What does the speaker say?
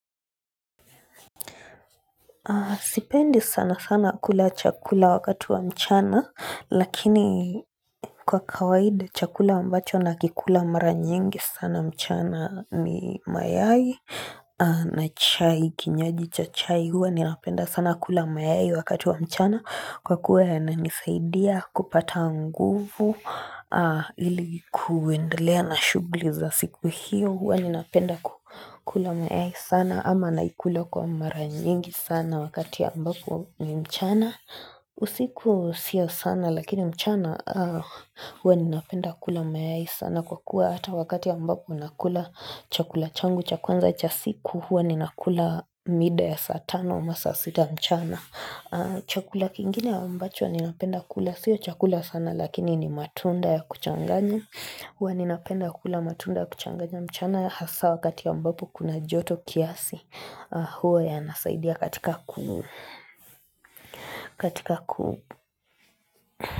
Sipendi sana sana kula chakula wakati wa mchana Lakini kwa kawaidi chakula ambacho nakikula mara nyingi sana mchana ni mayai na chai kinywaji cha chai huwa ninapenda sana kula mayai wakati wa mchana Kwa kuwa yananisaidia kupata nguvu ili kuendelea na shughuli za siku hiyo. Huwa ninapenda kukula mayai sana ama naikula kwa mara nyingi sana wakati ya ambapo ni mchana. Usiku sio sana lakini mchana huwa ninapenda kula mayai sana kwa kuwa Hata wakati ambapo nakula chakula changu cha kwanza cha siku huwa ninakula mida ya saa tana ama saa sita mchana Chakula kingine ambacho ninapenda kula Sio chakula sana lakini ni matunda ya kuchanganya Huwa ninapenda kula matunda ya kuchanganya mchana hasaa wakati ambapo kuna joto kiasi huwa yanasaidia katika kuu.